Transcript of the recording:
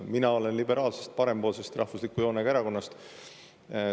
Mina olen liberaalsest, parempoolsest, rahvusliku joonega erakonnast.